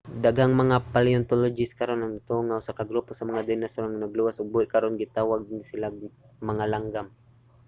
daghang mga paleontologist karon ang nagtuo nga usa ka grupo sa mga dinosaur ang naluwas ug buhi karon. ginatawag nato ni sila nga mga langgam